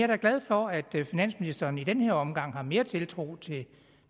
da glad for at finansministeren i den her omgang har mere tiltro til det